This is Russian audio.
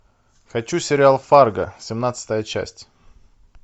хочу сериал фарго семнадцатая часть